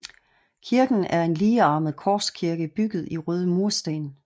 Kirken er en ligearmet korskirke bygget i røde mursten